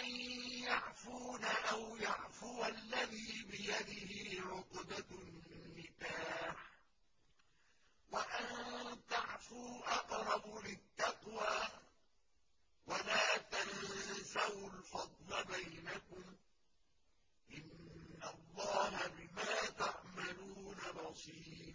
أَن يَعْفُونَ أَوْ يَعْفُوَ الَّذِي بِيَدِهِ عُقْدَةُ النِّكَاحِ ۚ وَأَن تَعْفُوا أَقْرَبُ لِلتَّقْوَىٰ ۚ وَلَا تَنسَوُا الْفَضْلَ بَيْنَكُمْ ۚ إِنَّ اللَّهَ بِمَا تَعْمَلُونَ بَصِيرٌ